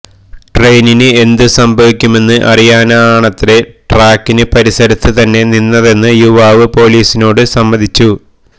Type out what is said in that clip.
ട്രെയിനിന് എന്ത് സംഭവിക്കുമെന്ന് അറിയാനാണത്രെ ട്രാക്കിന് പരിസരത്ത് തന്നെ നിന്നതെന്ന് യുവാവ് പൊലീസിനോട് സമ്മതിച്ചു